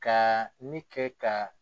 Kaaa ne kɛ ka.